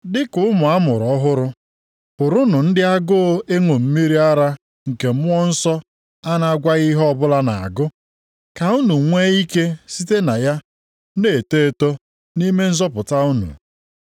Dịka ụmụ a mụrụ ọhụrụ, bụrụnụ ndị agụụ ịṅụ mmiri ara nke Mmụọ Nsọ a na-agwaghị ihe ọbụla na-agụ, ka unu nwee ike site na ya na-eto eto nʼime nzọpụta unu.